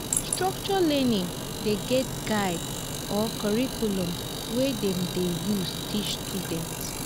structured learning de get guide or curriculum wey dem de use teach students